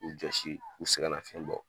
U josi u segɛn nafiyɛn bɔ.